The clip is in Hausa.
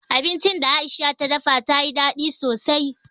Abincin da Aisha ta dafa ta yi daɗi sosai.